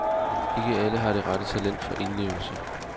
Ikke alle har det rette talent for indlevelse.